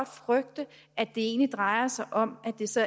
frygte at det egentlig drejer sig om at det så